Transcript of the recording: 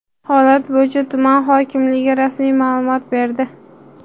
Holat bo‘yicha tuman hokimligi rasmiy ma’lumot berdi.